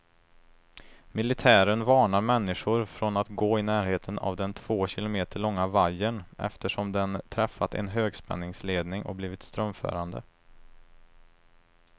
Militären varnar människor från att gå i närheten av den två kilometer långa vajern, eftersom den träffat en högspänningsledning och blivit strömförande.